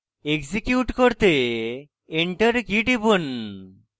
execute করতে enter key টিপুন